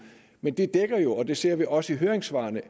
men det dækker jo og det ser vi også i høringssvarene